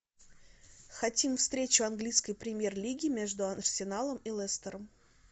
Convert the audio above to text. хотим встречу английской премьер лиги между арсеналом и лестером